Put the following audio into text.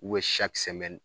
U bɛ